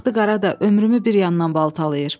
Bu baxtı qara da ömrümü bir yandan baltalayır.